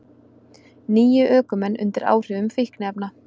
Níu ökumenn undir áhrifum fíkniefna